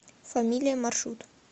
фамилия маршрут